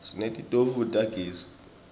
sinetitofu tagezi